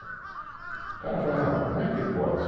O cara fala, não, como é que pode?